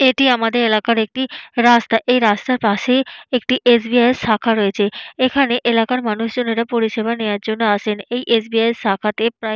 এটি আমাদের এলাকার একটি রাস্তা এই রাস্তার পাশেই একটি এস .বি .আই -এর শাখা রয়েছে। এখানে এলাকার মানুষজনেরা পরিষেবা নেওয়ার জন্য আসেন। এই এস .বি .আই এর শাখাতে প্রায়--